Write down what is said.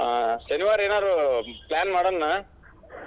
Plan ಮಾಡೊನ್ಲಾ ಏನಾದ್ರೂ ಮತ್ ಅಲ್ಲೇ